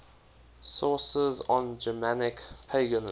sources on germanic paganism